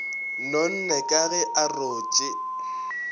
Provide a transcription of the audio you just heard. nonne ka ge a rotše